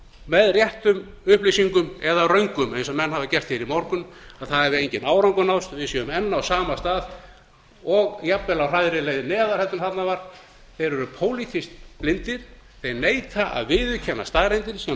með réttum upplýsingum eða röngum eins og menn hafa gert í morgun að það hafi enginn árangur náðst við séum enn á sama stað og og jafnvel á hraðri leið neðar en þarna var þeir eru pólitískt blindir þeir neita að viðurkenna staðreyndir sem